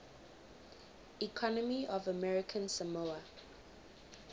economy of american samoa